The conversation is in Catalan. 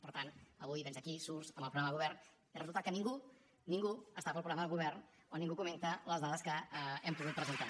per tant avui vens aquí surts amb el programa de govern i resulta que ningú ningú està pel programa de govern o ningú comenta les dades que hem pogut presentar